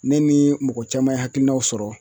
Ne ni mɔgɔ caman ye hakilinaw sɔrɔ